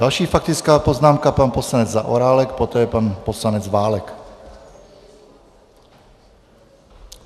Další faktická poznámka - pan poslanec Zaorálek, poté pan poslanec Válek.